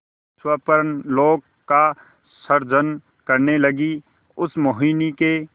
स्वप्नलोक का सृजन करने लगीउस मोहिनी के